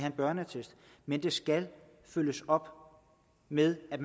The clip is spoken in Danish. en børneattest men det skal følges op med at